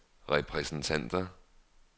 repræsentanter